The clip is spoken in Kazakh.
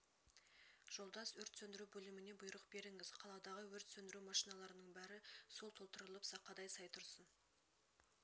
жолдас өрт сөндіру бөліміне бұйрық берңз қаладағы өрт сөндіру машиналарының бәрі су толтырылып сақадай сай тұрсын